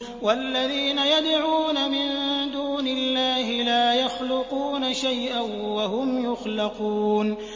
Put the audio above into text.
وَالَّذِينَ يَدْعُونَ مِن دُونِ اللَّهِ لَا يَخْلُقُونَ شَيْئًا وَهُمْ يُخْلَقُونَ